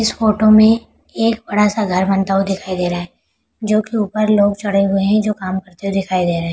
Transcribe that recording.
इस फोटो में एक बड़ा सा घर बनता हुआ दिखाई दे रहा है जो की ऊपर लोग चढ़े हुए हैं जो काम करते हुए दिखाई दे रहे --